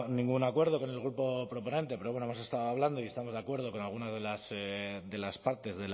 ningún acuerdo con el grupo proponente pero bueno hemos estado hablando y estamos de acuerdo con algunas de las partes